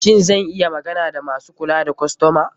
Shin zan iya magana da masu kula da kostoma?